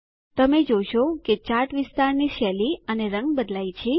તમે જોશો કે ચાર્ટ વિસ્તારની શૈલી અને રંગ બદલાય છે